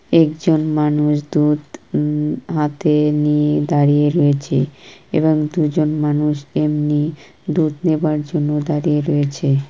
একজন মানুষ দুধ উম হাতে নিয়ে দাঁড়িয়ে রয়েছে এবং দুজন মানুষ এমনি দুধ নেবার জন্য দাঁড়িয়ে রয়েছে।